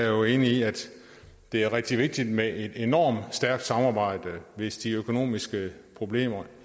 jo enig i at det er rigtig vigtigt med et enormt stærkt samarbejde hvis de økonomiske problemer i